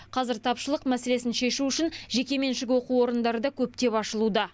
қазір тапшылық мәселесін шешу үшін жекеменшік оқу орындары да көптеп ашылуда